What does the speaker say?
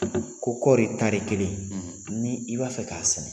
Ko kɔri tari kelen ni i b'a fɛ k'a sɛnɛ